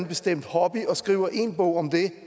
bestemt hobby og skriver én bog om det